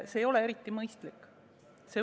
See ei ole eriti mõistlik.